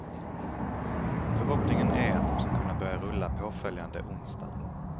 Förhoppningen är att de ska kunna börja rulla påföljande onsdag.